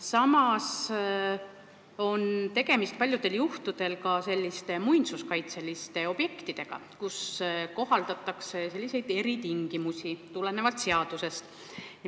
Samas on paljudel juhtudel tegemist muinsuskaitseliste objektidega, mille puhul kohaldatakse tulenevalt seadusest eritingimusi.